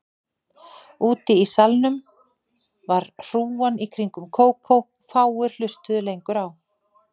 Úti í salnum var hrúgan í kringum Kókó og fáir hlustuðu lengur á